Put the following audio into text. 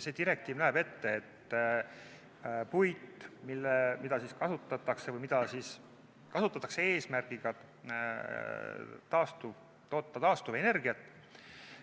See direktiiv näeb ette, et puit, mida kasutatakse eesmärgiga toota taastuvenergiat,